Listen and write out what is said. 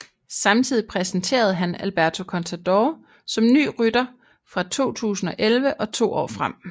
Samtidig præsenterede han Alberto Contador som ny rytter fra 2011 og to år frem